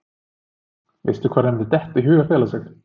Veist þú hvar henni myndi detta í hug að fela sig?